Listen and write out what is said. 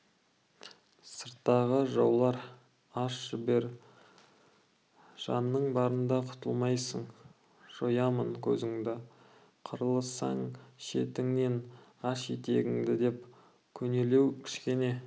сырттағы жаулар аш жібер жаның барында құтылмайсың жоямын көзіңді қырыласың шетіңнен аш есігіңді деп көнелеу кішкене